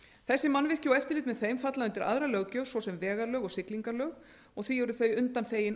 þessi mannvirki og eftirlit með þeim falla undir aðra löggjöf svo sem vegalög og siglingalög og því eru þau undanþegin